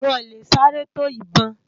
Wòn lé sárè tó ibòn